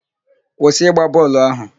Kwụsị ịgba bọọlụ ahụ!